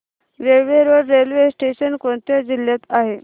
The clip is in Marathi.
केळवे रोड रेल्वे स्टेशन कोणत्या जिल्ह्यात आहे